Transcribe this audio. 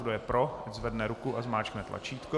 Kdo je pro, ať zvedne ruku a zmáčkne tlačítko.